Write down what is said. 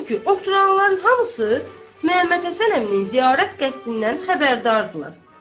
Çünki oturanların hamısı Məhəmməd Həsən əminin ziyarət qəsdindən xəbərdardılar.